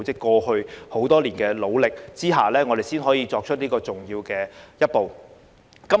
由於他們過去多年的努力，我們才可以踏出這重要的一步。